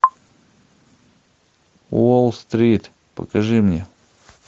уолл стрит покажи мне